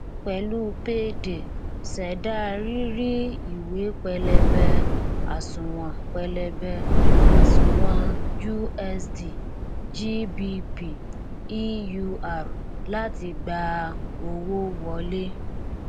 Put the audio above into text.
pẹlú payday ṣẹdá rírí ìwé pẹlẹbẹ àsùnwòn pẹlẹbẹ àsùnwòn usd gbp eur láti gba owó wọlé